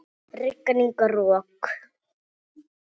Rigning og rok.